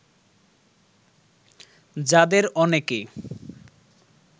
যাদের অনেকে